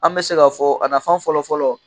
An bɛ se k'a fɔ a nafan fɔlɔ fɔlɔ